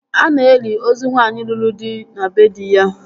A na-eli ozu nwaanyị lụrụ di na bee dị ya